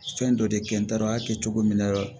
Fɛn dɔ de kɛ n taara a kɛ cogo min na